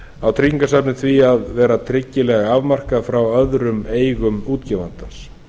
á tryggingasafnið því að vera tryggilega afmarkað frá öðrum eignum útgefandans